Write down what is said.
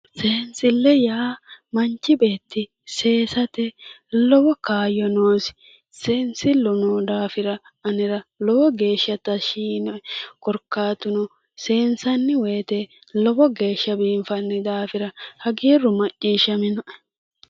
sensille yaa manchi beeti seessate lowo kaayo noosi seensillu noo daafira anera lowo geeshsha tashshi yiinoe korikaatu no seensanni weete lowo geeshsha biinfanni daafira hagiiru maciishshaminoe